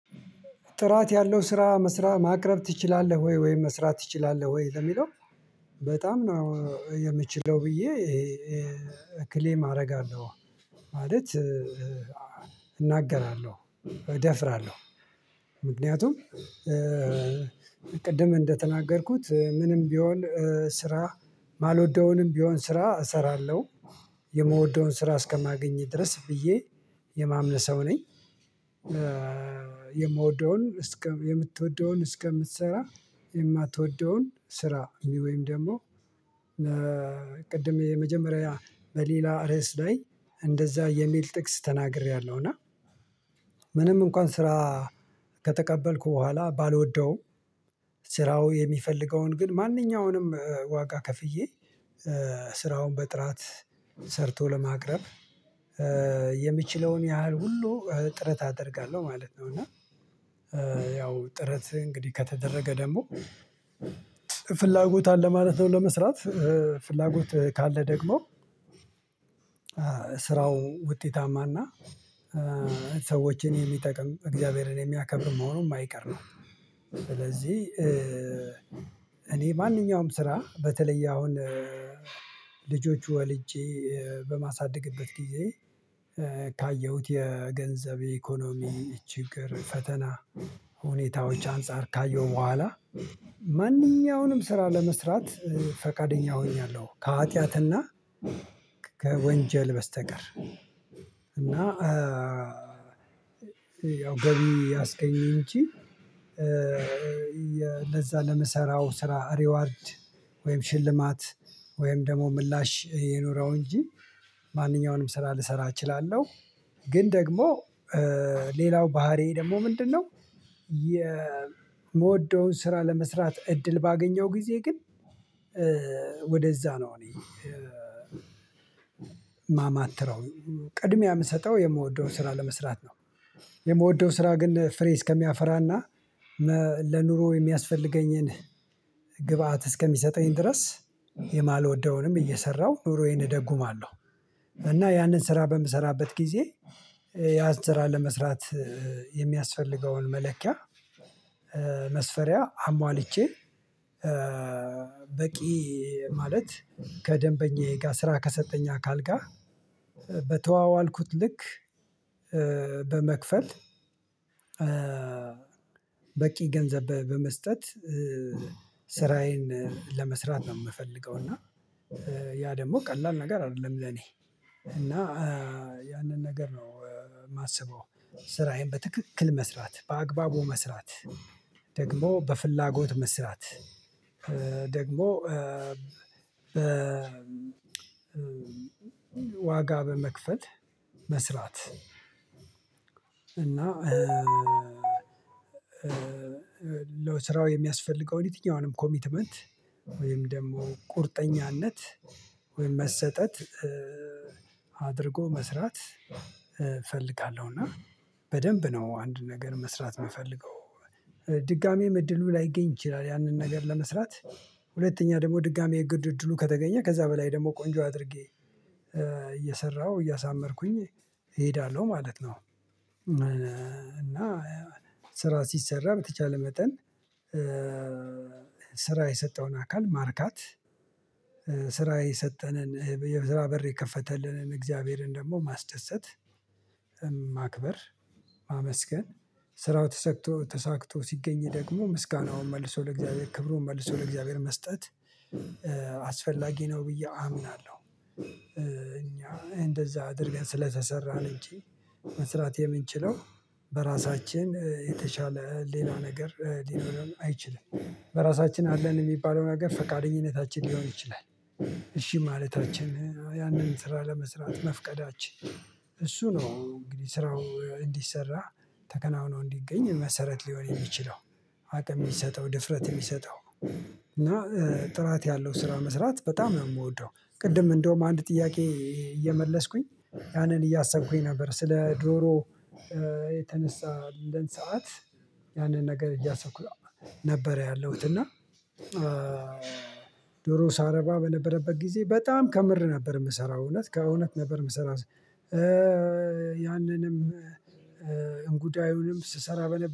ጥራት ያለው ስራ መስራት ማቅረብ ትችላለህ ወይ ወይ መስራት ትችላለህ ወይ ለሚለው? በጣም ነው የምችለው ብዬ ክሌም አርጋለሁ ማለት እናገራለሁ እደፍራለሁ ምክንያቱም ቅድም እንደተናገርኩት ምንም ቢሆን ስራ የማልወደውንም ቢሆን ስራ እሰራለሁ የምወደውን ስራ እስከማገኝ ድረስ ብዬ የማምን ሰው ነኝ። የምወደውን እስከ የምትወደውን እስከምትሰራ የማትወደውን ስራ ወይም ደግሞ ቅድም የመጀመሪያ በሌላ ርዕስ ላይ እንደዛ የሚል ጥቅስ ተናግሬያለሁ እና ምንም እንኳን ስራ ከተቀበልኩ በኋላ ባልወደውም ስራው የሚፈልገውን ግን ማንኛውንም ዋጋ ከፍዬ ስራውን በጥራት ሰርቶ ለማቅረብ የምችለውን ያህል ሁሉ ጥረት አደርጋለሁ ማለት ነው። እና ያው ጥረት እንግዲህ ከተደረገ ደግሞ ፍላጎት አለ ማለት ነው ለመስራት ፍላጎት ካለ ደግሞ ስራው ውጤታማና ሰዎችን የሚጠቅም እግዚአብሔርን የሚያከብር መሆኑ የማይቀር ነው። ስለዚህ እኔ ማንኛውም ስራ በተለየ አሁን ልጆች ወልጄ በማሳደግበት ጊዜ ካየሁት የገንዘብ ኢኮኖሚ ችግር ፈተና ሁኔታዎች አንፃር ካየው በኋላ ማንኛውንም ስራ ለመስራት ፈቃደኛ ሆኛለሁ። ከሀጢያትና ከወንጀል በስተቀር እና ያው ገብይ ያስገኘኝ እንጂ ለዛ ለመሰራው ስራ ሪዋርድ ወይም ሽልማት ወይም ደግሞ ምላሽ የኑረው እንጂ ማንኛውንም ስራ ልሰራ እችላለሁ። ግን ደግሞ ሌላው ባህሪዬ ደግሞ ምንድነው? የምወደውን ስራ ለመስራት እድል ባገኘው ጊዜ ግን ወደዛ ነው እኔ የማማትረው ቅድሚያ የምሰጠው የምወደውን ስራ ለመስራት ነው። የምወደው ስራ ግን ፍሬ እስከሚያፈራና ለኑሮ የሚያስፈልገኝን ግብአት እስከሚሰጠኝ ድረስ የማልወደውንም እየሰራሁ ኑሮዬን እደጉማለሁ እና ያንን ስራ በምሰራበት ጊዜ ያን ስራ ለመስራት የሚያስፈልገውን መለኪያ መስፈሪያ አሟልቼ በቂ ማለት ከደንበኛዬ ጋር ስራ ከሰጠኝ አካል ጋር በተዋዋልኩት ልክ በመክፈል በቂ ገንዘብ በመስጠት ስራዬን ለመስራት ነው የምፈልገው። እና ያ ደግሞ ቀላል ነገር አይደለም ለኔ እና ያንን ነገር ነው የማስበው ስራዬን በትክክል መስራት በአግባቡ መስራት ደግሞ በፍላጎት መስራት ደግሞ ዋጋ በመክፈል መስራት እና ለስራው የሚያስፈልገው የትኛውንም ኮሚትመንት ወይም ደግሞ ቁርጠኛነት ወይም መሰጠት አድርጎ መስራት እፈልጋለሁ። እና በደንብ ነው አንድ ነገር መስራት የምፈልገው ድጋሜም እድሉ ላይገኝ ይችላል ያንን ነገር ለመስራት ሁለተኛ ደግሞ ድጋሜ የግድ እድሉ ከተገኘ ከዛ በላይ ደግሞ ቆንጆ አድርጌ እየሰራሁ እያሳመርኩኝ እሄዳለሁ ማለት ነው። እና ስራ ሲሰራ በተቻለ መጠን ስራ የሰጠውን አካል ማርካት ስራ የሰጠንን የዛ በር የከፈተልንን እግዚአብሔርን ደግሞ ማስደሰት ማክበር ማመስገን ስራው ተሳክቶ ተሳክቶ ሲገኝ ደግሞ ምስጋናውን መልሶ ለእግዚአብሔር ክብሩን መልሶ ለእግዚአብሔር መስጠት አስፈላጊ ነው ብዬ አምናለሁ። እኛ እንደዛ አድርገን ስለተሰራን እንጂ መስራት የምንችለው በራሳችን የተሻለ ሌላ ነገር ሊኖረን አይችልም በራሳችን አለን የሚባለው ነገር ፈቃደኝነታችን ሊሆን ይችላል። እሺ ማለታችን ያንን ስራ ለመስራት መፍቀዳችን እሱ ነው እንግዲህ ስራው እንዲሰራ ተከናውኖ እንዲገኝ መሰረት ሊሆን የሚችለው አቅም የሚሰጠው ድፍረት የሚሰጠው እና ጥራት ያለው ስራ መስራት በጣም የምወደው። ቅድም እንደውም አንድ ጥያቄ እየመለስኩኝ ያንን እያሰብኩኝ ነበር ስለ ዶሮ የተነሳልን ሰዓት ያንን ነገር እያሰኩ ነበር ያለሁት እና ዶሮ ሳረባ በነበረበት ጊዜ በጣም ከምር ነበር የምሰራው እውነት ከእውነት ነበር ምሰራው ያንንም እንጉዳዩንም ስሰራ በነ